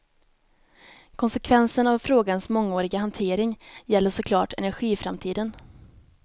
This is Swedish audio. Konsekvensen av frågans mångåriga hantering gäller så klart energiframtiden.